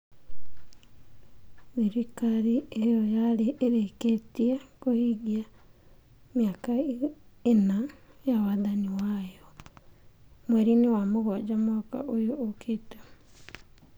Thirikari ĩyo yarĩ ĩrĩkĩtie kũhingia mĩaka ĩna ya wathani wayo mweri-inĩ wa mũgwanja mwaka ũyũ ũkĩte.